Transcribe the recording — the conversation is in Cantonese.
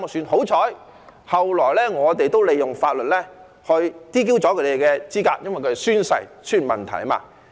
幸好，後來我們也利用法律 "DQ" 他們的資格，因為他們在宣誓時出現問題。